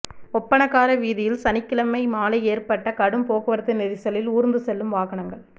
ஒப்பணக்கார வீதியில் சனிக்கிழமை மாலை ஏற்பட்ட கடும் போக்குவரத்து நெரிசலில் ஊா்ந்து செல்லும் வாகனங்கள்